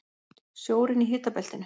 Sjórinn í hitabeltinu